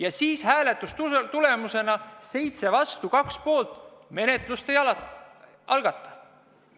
Aga hääletuse tulemusena – 7 vastu, 2 poolt – menetlust ei algatatud.